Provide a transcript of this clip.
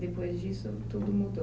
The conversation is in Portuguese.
Depois disso, tudo mudou?